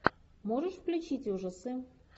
можешь включить ужасы